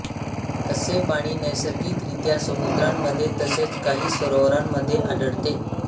असे पाणी नैसर्गिकरीत्या समुद्रांमध्ये तसेच काही सरोवरांमध्ये आढळते